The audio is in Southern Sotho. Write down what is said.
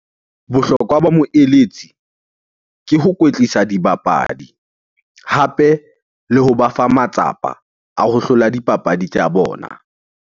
Bohlokwa ba moeletsi ke ho kwetlisa dibapadi hape le hoba fa matsapa a ho hlola dipapadi tsa bona.